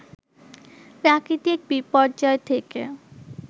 প্রাকৃতিক বিপর্যয় থেকে